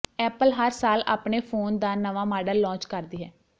Apple ਹਰ ਸਾਲ ਆਪਣੇ ਫੋਨ ਦਾ ਨਵਾਂ ਮਾਡਲ ਲੌਂਚ ਕਰਦੀ ਹੈ